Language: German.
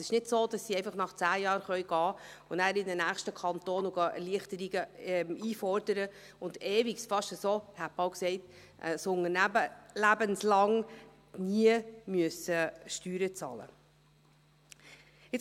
Es ist also nicht so, dass sie einfach nach 10 Jahren gehen und in einem nächsten Kanton Erleichterungen einfordern kann und ewig lang – ich hätte fast gesagt: ein Unternehmensleben lang – nie Steuern bezahlen muss.